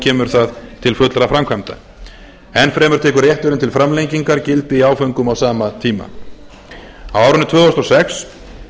kemur það til fullra framkvæmda enn fremur tekur réttinn til framlengingar gildi í áföngum á sama tíma á árinu tvö þúsund og sex